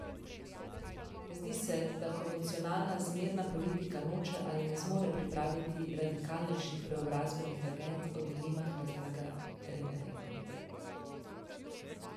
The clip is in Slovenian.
Zdi se, da konvencionalna zmerna politika noče ali ne zmore pripraviti radikalnejših preobrazbenih agend, o dilemah razlaga Renerjeva.